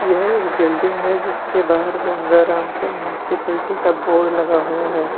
यह एक बिल्डिंग है जिसके बाहर गंगारामपुर म्युनिसिपालिटी का बोर्ड लगा हुआ है।